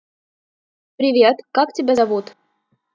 привет как тебя зовут